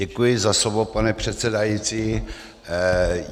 Děkuji za slovo, pane předsedající.